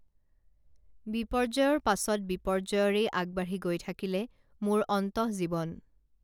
বিপৰ্যয়ৰ পাছত বিপৰ্যয়ৰেই আগবাঢ়ি গৈ থাকিলে মোৰ অন্তঃজীৱন